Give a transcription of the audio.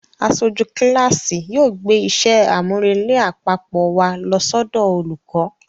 Aṣojú kíláàsì yóò gbé iṣẹ́ àmúrelé àpapọ̀ wa lọ sọ́dọ̀ olùkọ́